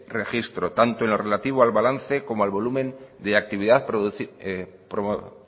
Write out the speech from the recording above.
registro tanto en lo relativo al balance como al volumen de actividad